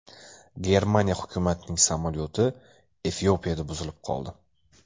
Germaniya hukumatining samolyoti Efiopiyada buzilib qoldi.